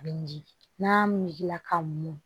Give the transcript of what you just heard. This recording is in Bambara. A bɛ miiri n'a miiri la ka mɔn